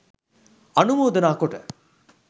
අනුමෝදනා කොට